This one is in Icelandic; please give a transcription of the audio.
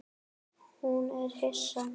Hún er hissa.